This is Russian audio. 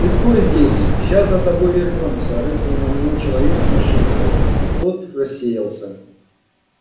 ты стой здесь сейчас за тобой вернёмся рыкнул на него человек с нашивкой и тот рассеялся